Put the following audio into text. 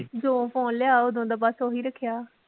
ਜੋ phone ਲਿਆ ਓਦੋਂ ਦਾ ਬੱਸ ਓਹੀ ਰੱਖਿਆ